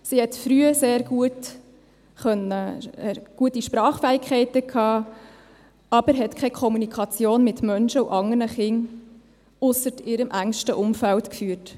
Sie hat früh sehr gute Sprachfähigkeiten gehabt, aber hat keine Kommunikation mit Menschen und anderen Kindern, ausser ihrem engsten Umfeld, geführt.